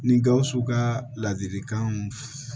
Ni gawusu ka ladilikanw